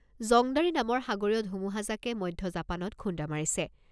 Jongdari নামৰ সাগৰীয় ধুমুহাজাকে মধ্য জাপানত খুন্দা মাৰিছে।